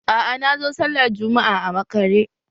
Aa, nazo sallah Jumma'a a makare